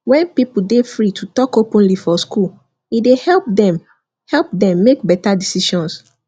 when people dey free to talk openly for school e dey help dem help dem make better decisions